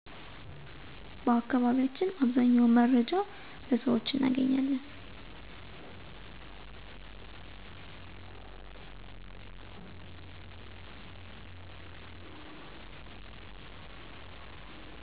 በአከባቢያቸን አብዛኛውን መረጃ በሰውች እነገኛለን